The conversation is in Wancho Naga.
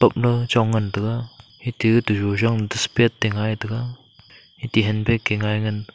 la chong ngantaga ita gata yujong dust pet te ngai taga ate handbag ke ngai.